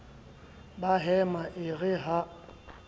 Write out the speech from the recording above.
ba hema e re ha